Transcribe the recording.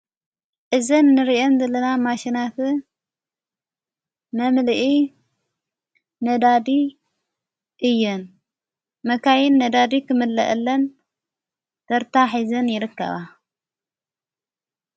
እዘን ንርየን ዝለና ማሽናት መምልኢ ነዳዲ እየን መካይን ነዳዲ ኽምለአለን ተርታ ሕይዘን ይረከባ።